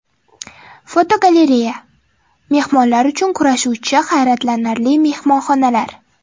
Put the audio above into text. Fotogalereya: Mehmonlar uchun kurashuvchi hayratlanarli mehmonxonalar.